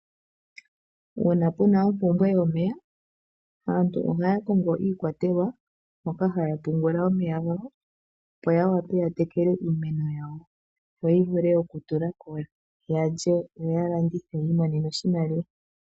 Uuna puna ompumbwe yomeya aantu ohaya kongo iikwatelwa moka haya pungula omeya gawo, opo ya wape ya tekele iimeno yawo yo yi vule okutula ko ya lye noya landithe yi imonene oshimaliwa.